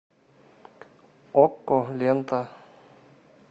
окко лента